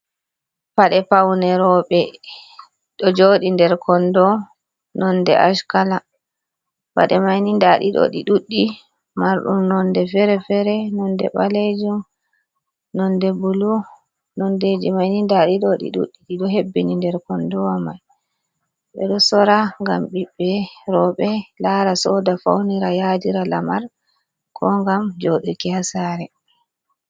Pade paune roɓe ɗo joɗi nder kondo nonde ash kala, paɗe mini ɗi ɗudɗi mardum nonde fere-fere, nonde ɓalejum, nonde bulu, nondeji maini ndaɗiɗo ɗi ɗudɗi ɗiɗo hebbini nder kondowa mai, ɓeɗo sora ngam biɓbe roɓe lara soda faunira yadira lamar ko ngam joɗi ki ha sare.